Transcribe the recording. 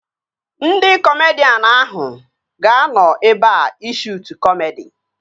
Ndị kọmedian ahụ ga-anọ ebea ị shuutu kọmedi